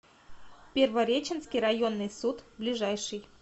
первореченский районный суд ближайший